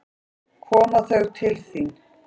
Koma þau til þín?